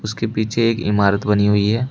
इनके पीछे एक इमारत बनी हुई है।